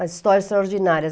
As histórias extraordinárias.